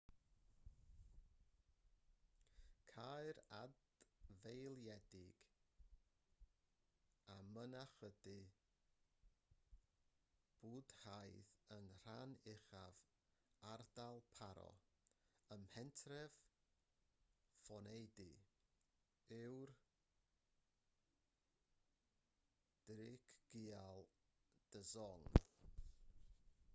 caer adfeiliedig a mynachdy bwdhaidd yn rhan uchaf ardal paro ym mhentref phondey yw'r drukgyal dzong